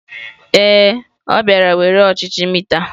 Ee, ọ bịara were ọchịchị mita.